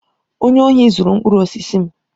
Onye ohi zuru mkpụrụ osisi m.